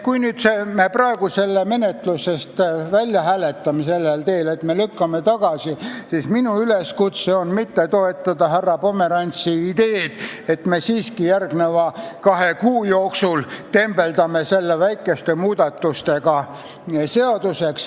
Kui me praegu selle eelnõu menetlusest välja hääletame sellel teel, et me lükkame ta tagasi, siis minu üleskutse on mitte toetada härra Pomerantsi ideed, et me siiski järgmise kahe kuu jooksul tembeldame selle väikeste muudatustega seaduseks.